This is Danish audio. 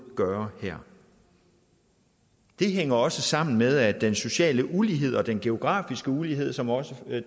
gøre her det hænger også sammen med at den sociale ulighed og den demografiske ulighed som også